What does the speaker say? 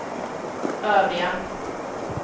övriga